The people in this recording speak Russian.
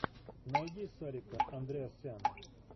найди сарика андреасяна